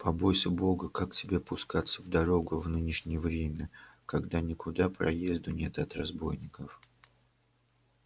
побойся бога как тебе пускаться в дорогу в нынешнее время когда никуда проезду нет от разбойников